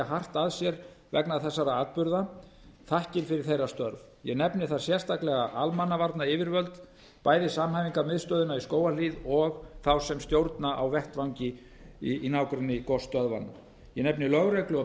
hart að sér vegna þessara atburða þakkir yfir þeirra störf ég nefni þar sérstaklega almannavarnayfirvöld bæði samhæfingarmiðstöðina í skógarhlíð og þá sem stjórna á vettvangi í nágrenni gosstöðvanna ég nefni lögreglu